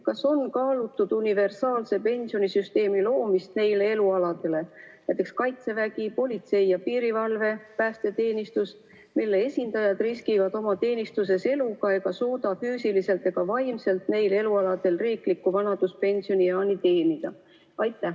Kas on kaalutud universaalse pensionisüsteemi loomist nende elualade puhul, näiteks Kaitsevägi, politsei ja piirivalve, päästeteenistus, mille esindajad riskivad oma teenistuses eluga ega suuda füüsiliselt ega vaimselt riikliku vanaduspensionieani teenida?